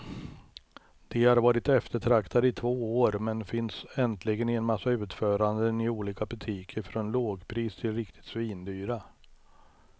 De har varit eftertraktade i två år, men finns äntligen i en massa utföranden i olika butiker från lågpris till riktigt svindyra.